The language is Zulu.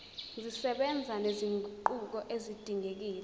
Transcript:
zisebenza nezinguquko ezidingekile